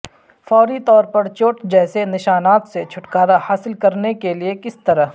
فوری طور پر چوٹ جیسے نشانات سے چھٹکارا حاصل کرنے کے لئے کس طرح